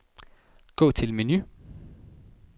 Gå til menu.